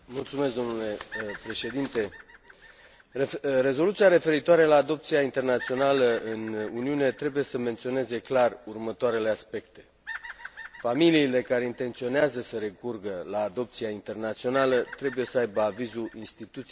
Rezoluția referitoare la adopția internațională în Uniune trebuie să menționeze clar următoarele aspecte familiile care intenționează să recurgă la adopția internațională trebuie să aibă avizul instituției naționale competente din țara din care provin